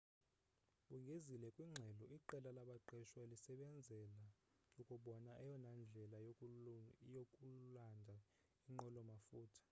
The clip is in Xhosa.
bongezile kwingxelo iqela labaqeshwa lisebenzela ukubona eyona ndlela yokulanda inqwelo mafutha